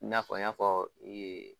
I na fɔ an y'a fɔ ee